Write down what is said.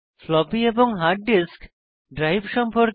floppy এবং hard disk drive সম্পর্কে